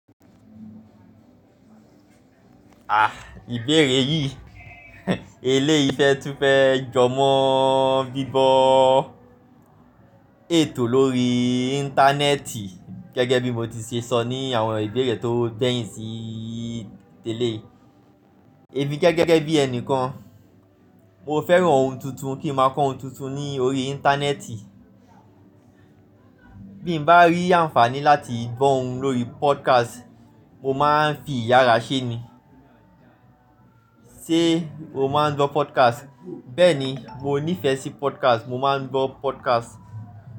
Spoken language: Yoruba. Ah! Ìbéèrè yìí, eléyìí fẹ́ tún fẹ́ jọ mọ bíbọ ètò lórí Íńtánẹ́ẹ̀tì gẹ́gẹ́ bí mo ti ṣe sọ ní àwọn ìbéèrè tó gbẹ́yìn sí tẹ́lẹ̀. Èmi gẹ́gẹ́ bí ẹni kan, mo fẹ́ràn ohun tuntun kí n máa kọ́ ohun tuntun ní orí Íńtánẹ́ẹ̀tì. Bí mo bá rí àǹfààní láti gbọ́ ohun lórí podcast, mo máa ń fi ìyára ṣe ni. Ṣé o máa ń gbọ́ podcast? Bẹ́ẹ̀ni, mo nífẹ̀ẹ́ sí podcast, mo máa ń gbọ́ podcast.